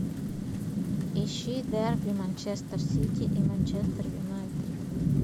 ищи дерби манчестер сити и манчестер юнайтед